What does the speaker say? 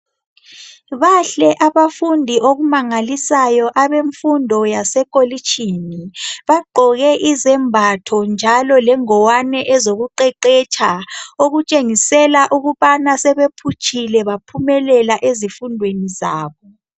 bahle abafundi okumangalisayo abemfundo yase kholishini bagqoke izembatho njalo lezingwane ezokuqeqetsha okutshengisela ukubana sebephutshile baphumelela ezifundweni zabo.